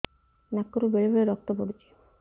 ନାକରୁ ବେଳେ ବେଳେ ରକ୍ତ ପଡୁଛି